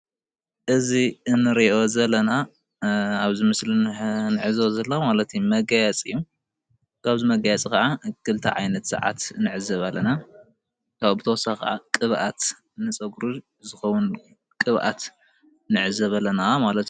እዚ እንሪኦ ዘለና ኣብዚ ምስሊ ዝነሄ መጋየፂ እዩ፡፡ ካብዚ መጋየፂ ከዓ ክልተ ዓይነት ሰዓት ንዕዘብ ኣለና፡፡ ብተወሳኪ ድማ ቅብኣት ንፀጉሪ ዝከውን ቅብኣት ንዕዘብ ኣለና፡፡